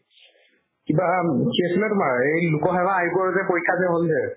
কিবা উম এই লোকসেৱা আয়োগৰ যে পৰীক্ষা যে হ'ল যে